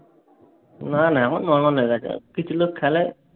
না না। এখন normal হয়ে গেছে। কিছু লোক খেলে।